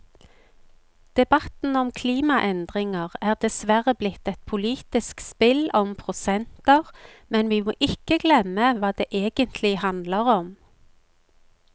Debatten om klimaendringer er dessverre blitt et politisk spill om prosenter, men vi må ikke glemme hva det egentlig handler om.